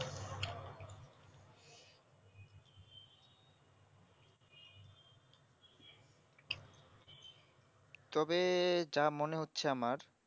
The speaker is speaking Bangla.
তবে যা মনে হচ্ছে আমার